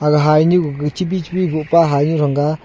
aga hainu gaga chibi chibi bohpa hainu thanga.